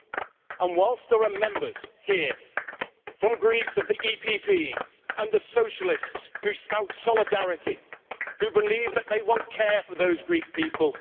And whilst there are Members here from Greece from the EPP and the Socialists who spout solidarity, who believe that they want care for those Greek people.